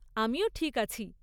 আমিও ঠিক আছি।